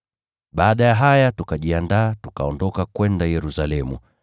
Baada ya haya, tukajiandaa, tukaondoka kwenda Yerusalemu.